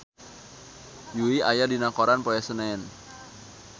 Yui aya dina koran poe Senen